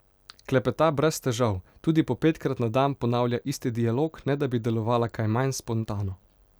Klepeta brez težav, tudi po petkrat na dan ponavlja isti dialog, ne da bi delovala kaj manj spontano.